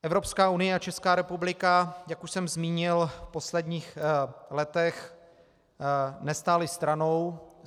Evropská unie a Česká republika, jak už jsem zmínil, v posledních letech nestály stranou.